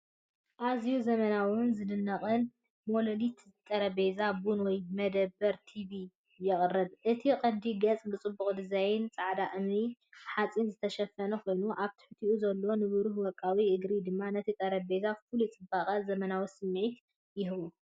ኣዝዩ ዘመናውን ዝድነቕን ሞላሊት ጠረጴዛ ቡን ወይ መደበር ቲቪ የቕርብ። እቲ ቀንዲ ገጽ ብጽቡቕ ዲዛይን ጻዕዳ እምኒ-ሓጺን ዝተሸፈነ ኮይኑ፡ ኣብ ትሕቲኡ ዘሎ ንብሩህ ወርቃዊ እግሪ ድማ ነቲ ጠረጴዛ ፍሉይ ጽባቐን ዘመናዊ ስምዒትን ይህቦ።